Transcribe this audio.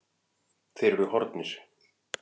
Þeir eru horfnir.